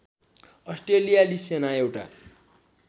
अस्ट्रेलियाली सेना एउटा